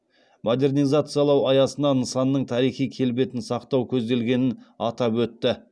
модернизациялау аясына нысанның тарихи келбетін сақтау көзделгенін атап өтті